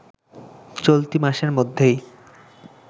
চলতি মাসের মধ্যেই